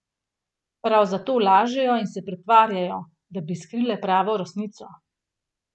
Prav zato lažejo in se pretvarjajo, da bi skrile pravo resnico.